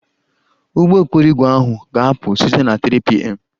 Ụgbọ okporo ígwè ahụ ga-apụ site na 3pm